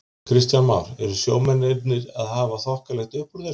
Kristján Már: Eru sjómennirnir að hafa þokkalegt uppúr þessu?